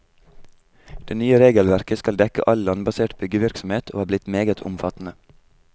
Det nye regelverket skal dekke all landbasert byggevirksomhet og er blitt meget omfattende.